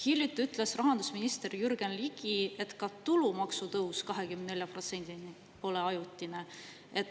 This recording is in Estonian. Hiljuti ütles rahandusminister Jürgen Ligi, et ka tulumaksu tõus 24%‑ni pole ajutine.